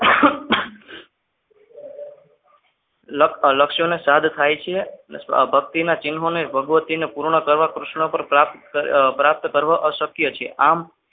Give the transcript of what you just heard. લક્ષ અને સાદ થાય છે ભક્તિના ચિન્હોને ભગવતી પૂર્ણ કરવા કૃષ્ણ પર અશક્ય છે.